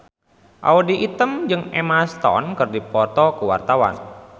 Audy Item jeung Emma Stone keur dipoto ku wartawan